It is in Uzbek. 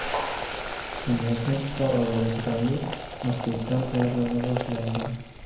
Shundan so‘ng qor olovga chidamli asbestdan tayyorlana boshlangan.